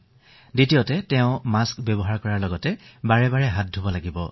দ্বিতীয়তে তেওঁ মাস্ক ব্যৱহাৰ কৰিব লাগিব আৰু হাত দুখন ধুই থাকিব লাগিব